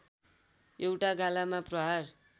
एउटा गालामा प्रहार